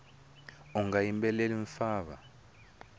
unga yimbeleli mfava